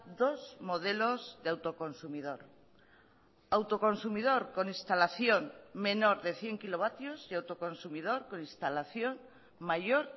dos modelos de autoconsumidor autoconsumidor con instalación menor de cien kilovatios y autoconsumidor con instalación mayor